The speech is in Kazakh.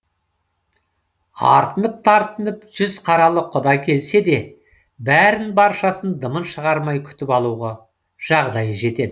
артынып тартынып жүз қаралы құда келсе де бәрін баршасын дымын шығармай күтіп алуға жағдайы жетеді